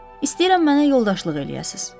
İstəyirəm mənə yoldaşlıq eləyəsiz.